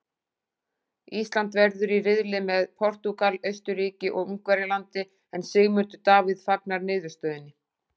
Ísland verður í riðli með Portúgal, Austurríki og Ungverjalandi en Sigmundur Davíð fagnar niðurstöðunni.